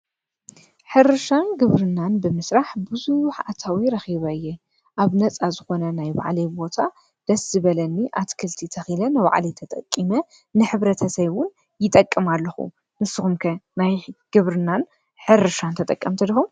ሕርሻን ግብርናን ብምስራሕ ብዙሕ ኣታዊ ረኺበ እየ። ኣብ ነፃ ዝኾነ ናይ ባዕለይ ቦታ ደስ ዝበለኒ ኣቲ ክልቲ ተኺለ ንባዕልየ ተጠቂመ ንሕብረተሰበይ እውን ይጠቅም ኣለኹ። ንስኹም ከ ናይ ግብርናን ሕርሻን ተጠቀምቲ ድኩም?